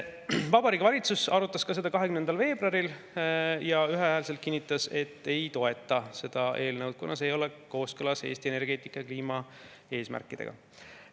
Vabariigi Valitsus arutas seda 20. veebruaril ja ühehäälselt kinnitas, et ei toeta seda eelnõu, kuna see ei ole kooskõlas Eesti energeetika‑ ja kliimaeesmärkidega.